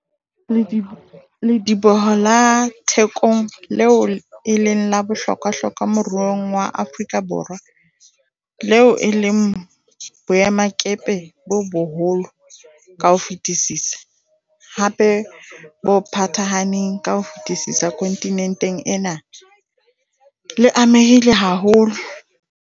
Lediboho la Thekong, leo e leng la bohlokwahlokwa moruong wa Afrika Borwa, leo e leng boemakepe bo boholo ka ho fetisisa, hape bo phathahaneng ka ho fetisisa kontinenteng ena, le amehile haholo.